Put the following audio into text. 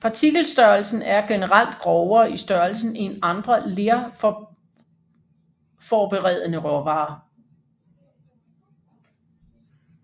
Partikelstørrelsen er generelt grovere i størrelsen end andre lerforberedende råvarer